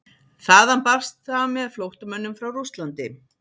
Þaðan barst það með flóttamönnum frá Rússlandi.